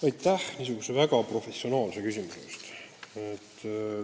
Aitäh niisuguse väga professionaalse küsimuse eest!